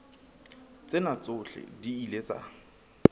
tsena tsohle di ile tsa